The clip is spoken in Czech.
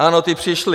Ano, ti přišli.